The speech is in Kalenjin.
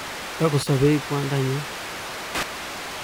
Tukusobei kwandanyu